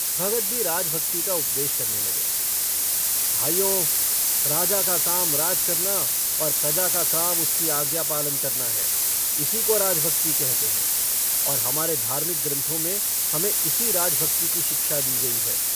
भगत भी राजभक्ति का उपदेश करने लगे - भाइयो, राजा का काम राज करना और प्रजा का काम उसकी आज्ञा पालन करना है। इसी को राजभक्ति कहते हैं और हमारे धार्मिक ग्रन्थों में हमें इसी राजभक्ति की शिक्षा दी गई है।